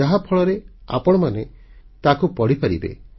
ଯାହାଫଳରେ ଆପଣମାନେ ତାକୁ ପଢ଼ିପାରିବେ